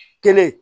Kelen